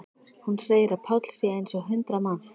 Hún segir að Páll sé eins og hundrað manns.